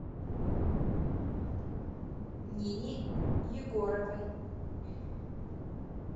нине егоровой